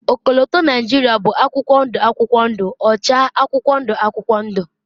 ọkọlọtọ Nigeria bụ akwụkwọ ndụ akwụkwọ ndụ, ọcha akwụkwọ ndụ akwụkwọ ndụ